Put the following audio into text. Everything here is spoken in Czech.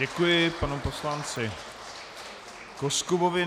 Děkuji panu poslanci Koskubovi.